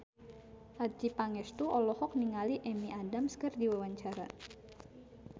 Adjie Pangestu olohok ningali Amy Adams keur diwawancara